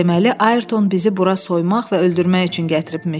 Deməli, Ayrton bizi bura soymaq və öldürmək üçün gətiribmiş.